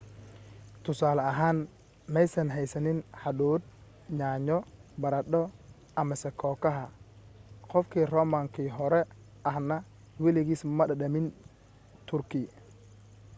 tusaale ahaan maysan haysanin hadhuudh yaanyo baradho amase kookaha qof romankii hore ahna weligiis ma dhadhamin turkey